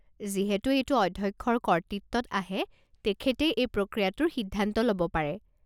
যিহেতু এইটো অধ্যক্ষৰ কৰ্তৃত্বত আহে তেখেতেই এই প্ৰক্ৰিয়াটোৰ সিদ্ধান্ত ল'ব পাৰে।